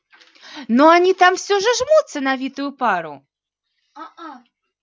но они там все жмутся на витую пару